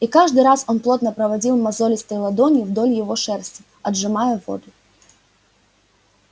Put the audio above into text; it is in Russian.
и каждый раз он плотно проводил мозолистой ладонью вдоль его шерсти отжимая воду